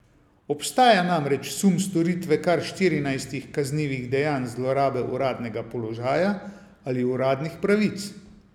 Obstaja namreč sum storitve kar štirinajstih kaznivih dejanj zlorabe uradnega položaja ali uradnih pravic.